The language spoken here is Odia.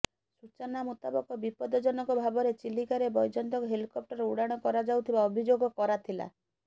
ସୂଚନାମୁତାବକ ବିପଦଜନକ ଭାବରେ ଚିଲିକାରେ ବୈଜୟନ୍ତଙ୍କ ହେଲିକପ୍ଟର ଉଡାଣ କରାଯାଉଥିବା ଅଭିଯୋଗ କରାଥିଲା